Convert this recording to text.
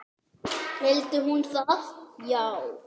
Vildi hún það já?